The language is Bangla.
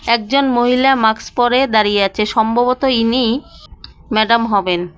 একজন মহিলা মাস্ক পড়ে দাঁড়িয়ে আছে সম্ভবত ইনিই ম্যাডাম হবেন।